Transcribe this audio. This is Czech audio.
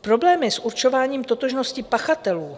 Problémy s určováním totožnosti pachatelů,